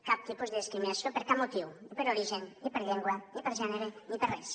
cap tipus de discriminació per cap motiu ni per origen ni per llengua ni per gènere ni per res